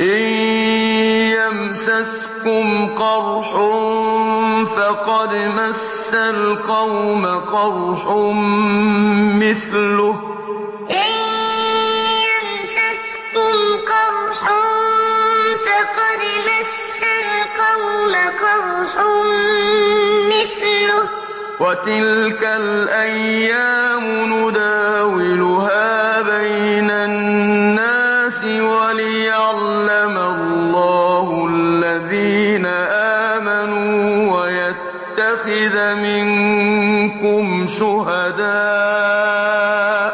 إِن يَمْسَسْكُمْ قَرْحٌ فَقَدْ مَسَّ الْقَوْمَ قَرْحٌ مِّثْلُهُ ۚ وَتِلْكَ الْأَيَّامُ نُدَاوِلُهَا بَيْنَ النَّاسِ وَلِيَعْلَمَ اللَّهُ الَّذِينَ آمَنُوا وَيَتَّخِذَ مِنكُمْ شُهَدَاءَ ۗ